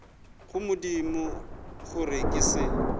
go modimo gore ke se